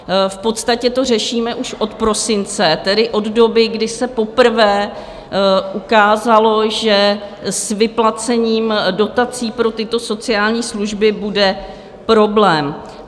V podstatě to řešíme už od prosince, tedy od doby, kdy se poprvé ukázalo, že s vyplacením dotací pro tyto sociální služby bude problém.